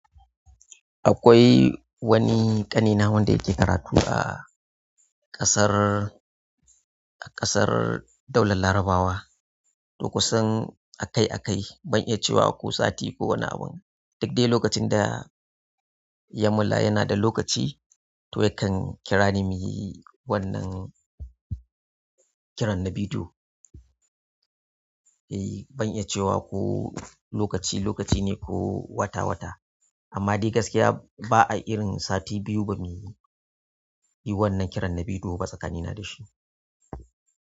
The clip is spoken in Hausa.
Akwai wani ƙanina wanda yake karatu a ƙasar, ƙasar Daular Larabawa. Duk kusan akai-akai. Ban iya cewa ko sati ko wani abun. Duk dai lokacin da ya mulla yana da lokaci, to yakan kira ni muyi wannan kiran na bidiyo. Eh, ban iya cewa ko lokaci lokaci ne ko wata wata. Amma dai gaskiya ba a irin sati biyu ba muyi wannan kiran na bidiyo ba tsakanina da shi.